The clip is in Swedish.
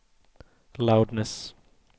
loudness